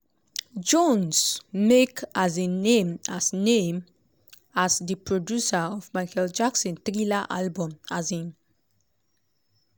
jones make um name as name as di producer of michael jackson thriller album. um